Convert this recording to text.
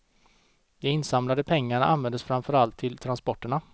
De insamlade pengarna användes framför allt till transporterna.